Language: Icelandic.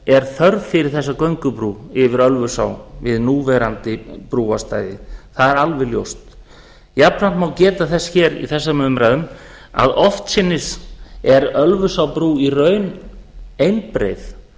er þörf fyrir þessa göngubrú yfir ölfusá við núverandi brúarstæði það er alveg ljóst jafnframt má geta þess hér í þessum umræðum að oftsinnis er ölfusárbrú í raun einbreið